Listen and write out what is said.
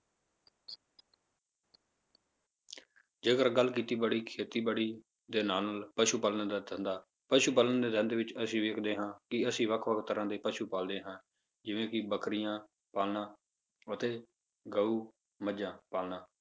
ਜੇਕਰ ਗੱਲ ਖੇਤੀਬਾੜੀ ਖੇਤੀਬਾੜੀ ਦੇ ਨਾਲ ਨਾਲ ਪਸੂ ਪਾਲਣ ਦਾ ਧੰਦਾ, ਪਸੂ ਪਾਲਣ ਦੇ ਧੰਦੇ ਵਿੱਚ ਅਸੀਂ ਵੇਖਦੇ ਹਾਂ ਕਿ ਅਸੀਂ ਵੱਖ ਵੱਖ ਤਰ੍ਹਾਂ ਦੇ ਪਸੂ ਪਾਲਦੇ ਹਾਂ ਜਿਵੇਂ ਕਿ ਬੱਕਰੀਆਂ ਪਾਲਣਾ ਅਤੇ ਗਊ, ਮੱਝਾਂ ਪਾਲਣਾ,